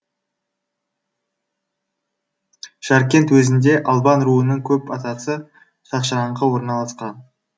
жаркент уезінде албан руының көп атасы шашыраңқы орналасқан